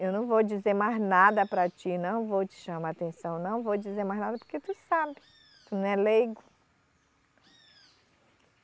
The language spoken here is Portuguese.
Eu não vou dizer mais nada para ti, não vou te chamar atenção, não vou dizer mais nada porque tu sabe, tu não é leigo.